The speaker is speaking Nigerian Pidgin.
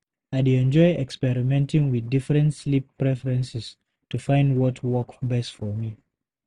I dey enjoy experimenting with different sleep preferences to find what work best for me.